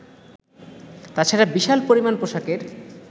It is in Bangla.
তাছাড়া বিশাল পরিমাণ পোশাকের